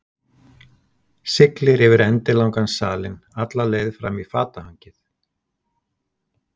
Siglir yfir endilangan salinn, alla leið fram í fatahengið.